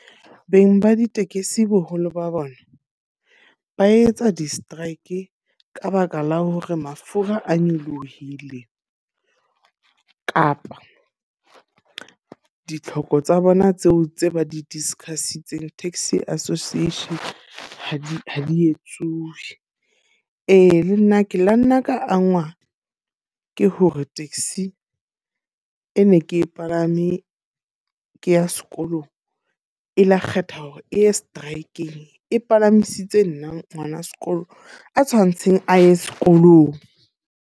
Beng ba ditekesi boholo ba bona, ba etsa di-strike ka baka la hore mafura a nyolohile. Kapa ditlhoko tsa bona tseo tse ba di-discuss-itseng Taxi Association, ha di ha di etsuwe. Ee, le nna ke la nna ka angwa ke hore taxi e ne ke e palame ke ya sekolong. E la kgetha hore e strike-ng e palamisitse nna ngwana sekolo a tshwantseng a ye sekolong.